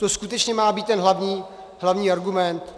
To skutečně má být ten hlavní argument?